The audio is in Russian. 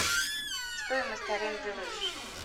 стоимость аренды лыж